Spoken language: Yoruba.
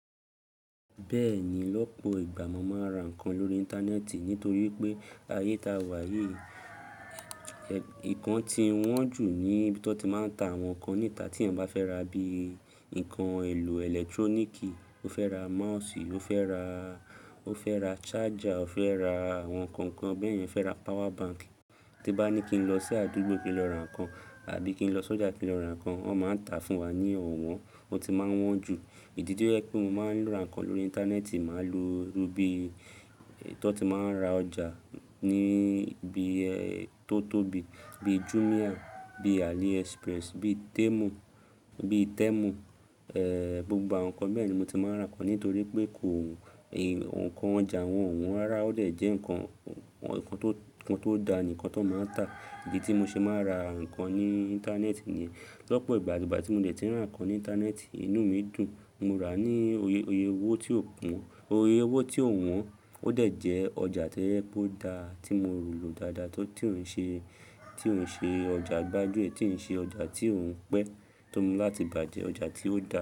Bẹ́ẹ̀ ni, lọ́pọ̀ ìgbà mo máa ń ra ǹkan lórí íńtánẹ́ẹ̀tì nítorí pé ayé ta wà yìí, ǹkan tí wọ́n jù ní ibi tí tan ti máa ń ta àwọn ǹkan níta tí ẹ̀yan bá fẹ́ ra bí ǹkan èlò ẹ̀lẹ́tróníìkì, o fẹ́ ra mouse, o fẹ́ ra, o fẹ́ ra charger, o fẹ́ ra àwọn ǹkan ǹkan bẹ́ẹ̀ yẹn, o fẹ́ ra power bank. Tí bá ní kí n lọ sí àdúgbò kí n lọ ra ǹkan àbí kí n lọ sójà kí n lọ ra ǹkan, wọ́n máa ń ta fún wa ní ọ̀wọ́n, ó ti máa wọ́n jù. Ìdí tó jẹ́ pé mo máa ń ra ǹkan lórí íńtánẹ́ẹ̀tì, màá lọ irú ibi tan ti máa ń ra ọjà níbi tó tóbi bí Jumia, bí AliExpress, bí Temu, bí Temu, eh, gbogbo àwọn ǹkan bẹ́ẹ̀ ni mo ti máa ń ra ǹkan nítorí pé kò, ǹkan ọjà wọn ò wọ́n rárá. Ó dẹ̀ jẹ́ ǹkan, ǹkan tó, ǹkan tó da ni ǹkan tí wọ́n máa ń tà. Ìdí tí mo ṣe máa ra ǹkan ní íńtánẹ́ẹ̀tì niyen. Lọ́pọ̀ ìgbà tí mo dẹ̀ tí ń ra ǹkan ní íńtánẹ́ẹ̀tì, inú mi dùn. Mo rà ní oyè, oyè owó tí ó kún, oyè owó tí ò wọ́n. Ó dẹ̀ jẹ́ ọjà tí jẹ́ pé ó da tí mo rò lò dáadáa tí ò ń ṣe, tí ò ń ṣe ọjà gbájúẹ̀ tí ń ṣe ọjà tí ò ń pẹ́ tó mú láti bàjẹ́ ọjà tí ó da.